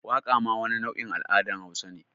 Waqa ma wani nau’in al’adan hausa ne.